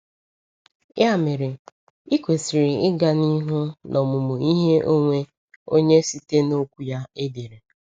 Ya mere, ị kwesịrị ịga n’ihu n’omụmụ ihe onwe onye site n’Okwu ya edere.